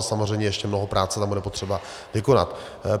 Ale samozřejmě ještě mnoho práce tam bude potřeba vykonat.